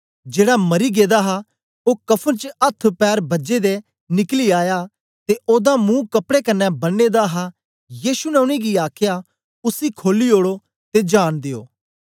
जेड़ा मरी गेदा हा ओ कफ़न च अथ्थपैर बझे दे निकली आया ते ओदा मुहं कपड़े कन्ने बनें दा हा यीशु ने उनेंगी आखया उसी खोली ओड़ो ते जान दियो